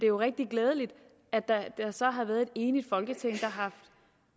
jo rigtig glædeligt at der så har været et enigt folketing der har haft